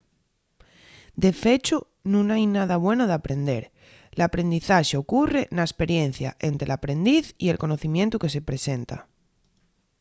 de fechu nun hai nada bueno d’aprender. l’aprendizaxe ocurre na esperiencia ente l’aprendiz y el conocimientu que se-y presenta